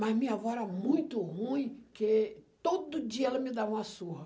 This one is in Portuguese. Mas minha avó era muito ruim, porque todo dia ela me dava uma surra.